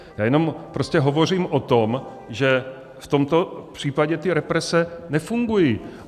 Já jenom prostě hovořím o tom, že v tomto případě ty represe nefungují.